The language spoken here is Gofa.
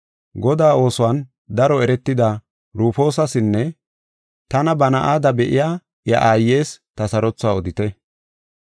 Godaa oosuwan daro eretida Rufoosasinne tana ba na7ada be7iya iya aayes ta sarothuwa odite.